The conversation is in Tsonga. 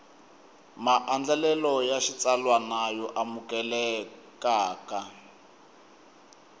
maandlalelo ya xitsalwana yo amukelekaka